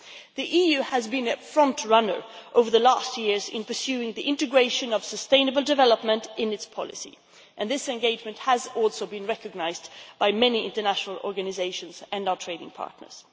The EU has been a frontrunner over recent years in pursuing the integration of sustainable development into its policy, and this engagement has also been recognised by many international organisations and our trading partners.